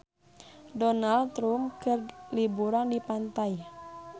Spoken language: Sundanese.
Donald Trump keur liburan di pantai